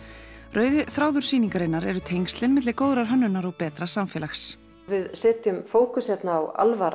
rauði þráður sýningarinnar eru tengslin milli góðrar hönnunar og betra samfélags við setjum fókus hérna á